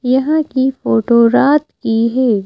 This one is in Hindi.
यहाँ की फोटो रात की है।